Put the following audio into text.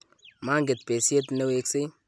manget besiet ne weksei